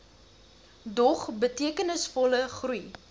dog betekenisvolle groei